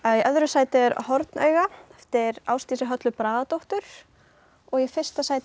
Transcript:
í öðru sæti er hornauga eftir Ásdísi Höllu Bragadóttur og í fyrsta sæti